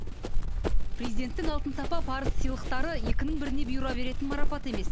президенттің алтын сапа парыз сыйлықтары екінің біріне бұйыра беретін марапат емес